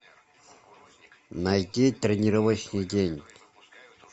найти тренировочный день